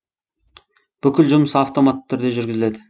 бүкіл жұмыс автоматты түрде жүргізіледі